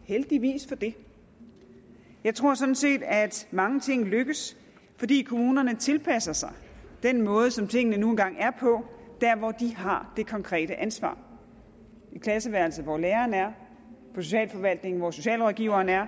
og heldigvis for det jeg tror sådan set at mange ting lykkes fordi kommunerne tilpasser sig den måde som tingene nu engang er på der hvor de har det konkrete ansvar i klasseværelset hvor læreren er på socialforvaltningen hvor socialrådgiveren er